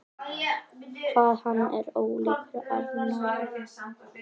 Hvað hann er ólíkur Arnari!